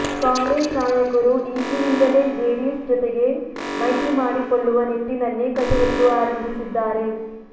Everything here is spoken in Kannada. ಕಾಂಗ್ರೆಸ್ ನಾಯಕರು ಈಗಿನಿಂದಲೇ ಜೆಡಿಎಸ್ ಜೊತೆಗೆ ಮೈತ್ರಿ ಮಾಡಿಕೊಳ್ಳುವ ನಿಟ್ಟಿನಲ್ಲಿ ಕಸರತ್ತು ಆರಂಭಿಸಿದ್ದಾರೆ